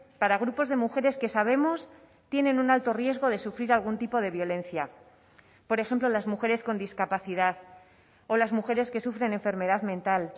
para grupos de mujeres que sabemos tienen un alto riesgo de sufrir algún tipo de violencia por ejemplo las mujeres con discapacidad o las mujeres que sufren enfermedad mental